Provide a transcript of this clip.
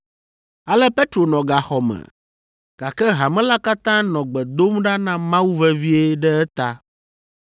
Ale Petro nɔ gaxɔ me, gake hame la katã nɔ gbe dom ɖa na Mawu vevie ɖe eta.